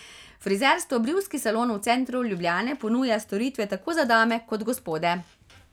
Frizersko brivski salon v centru Ljubljane ponuja storitve tako za dame kot gospode.